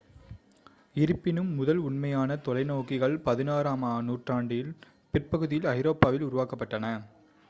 இருப்பினும் முதல் உண்மையான தொலைநோக்கிகள் 16 ஆம் நூற்றாண்டின் பிற்பகுதியில் ஐரோப்பாவில் உருவாக்கப்பட்டன